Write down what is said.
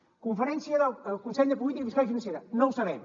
conferència del consell de política fiscal i financera no ho sabem